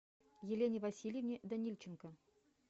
елене васильевне данильченко